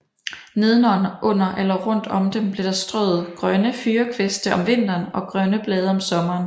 Nedenunder eller rundt om dem blev der strøet grønne fyrrekviste om vinteren og grønne blade om sommeren